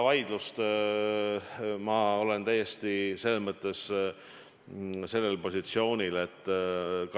Jah, ma tean seda vaidlust.